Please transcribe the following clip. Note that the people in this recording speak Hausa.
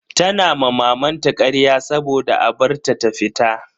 Tana ma mamanta karya saboda a bar ta ta fita.